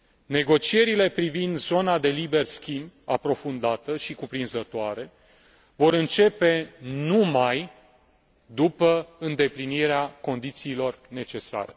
Negocierile privind zona de liber schimb aprofundată și cuprinzătoare vor începe numai după îndeplinirea condițiilor necesare.